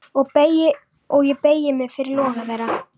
Og ég beygi mig fyrir loga þeirra.